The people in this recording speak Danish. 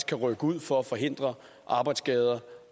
kan rykke ud for at forhindre arbejdsskader